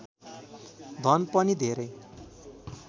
धन पनि धेरै